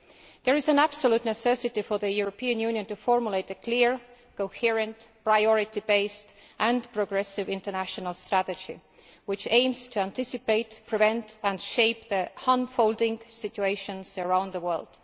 There is an absolute necessity for the European Union to formulate a clear, coherent, priority based and progressive international strategy which aims to anticipate, prevent and shape the unfolding situations around the world.